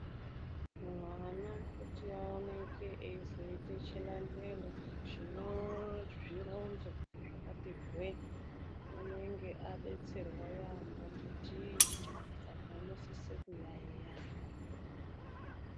Mwana kuti aoneke, eizoita chilandelo chine zvironzo zvakati hweee, unenge adetserwa yaampho nditicha. Saka unosise kuyayeya.